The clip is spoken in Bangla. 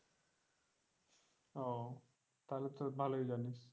ও তাহলে তো ভালোই জানিস।